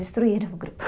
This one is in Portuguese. Destruíram o grupo.